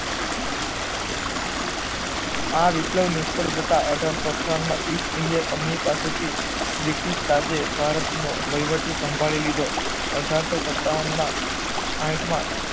આ વિપ્લવ નિષ્ફ્ળ જતા અઢારસો અઠાવન માં ઇસ્ટ ઇન્ડિયા કંપની પાસેથી બ્રિટિશ આજે ભારતનો વહીવટી સાંભળી લીદો અઢારસો સતાવનના આઠમા